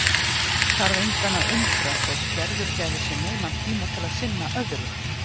Þarf engan að undra þótt Gerður gæfi sér nauman tíma til að sinna öðru.